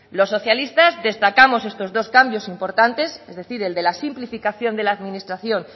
los socialistas destacamos estos dos cambios importantes es decir el de la simplificación de la administración